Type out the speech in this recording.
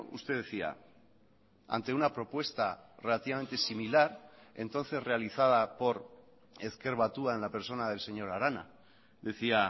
usted decía ante una propuesta relativamente similar entonces realizada por ezker batua en la persona del señor arana decía